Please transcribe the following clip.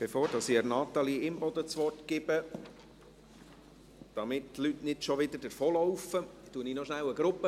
Bevor ich Natalie Imboden das Wort gebe – damit die Leute nicht schon wieder weglaufen – begrüsse ich noch kurz eine Gruppe.